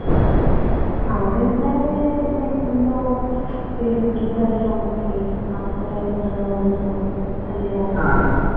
ಹಂಗಂದ್ರೆ ಇದೆ ನಮ್ದು ಈಗ ವೃದ್ಧಾಶ್ರಮಕ್ಕೆ ಅ~ ಅವ್ರನ್ನೆಲ್ಲ ನೋಡುದು ಅಲ್ಲಿ ಹೋಗುದು .